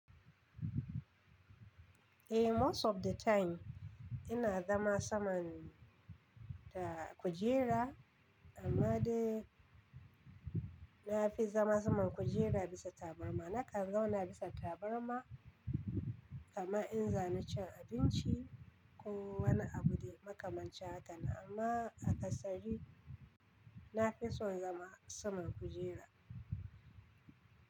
Eh, most of the time ina zama saman da kujera amma dai na fi zama saman kujera bisa tabarma. Naka zauna bisa tabarma, kama in za ni cin abinci ko wani abu dai, maka manchin haka nan. Amma a kasari na fi son zama saman kujera.